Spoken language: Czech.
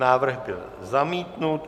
Návrh byl zamítnut.